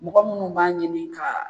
Mɔgɔ munnu b'a ɲini ka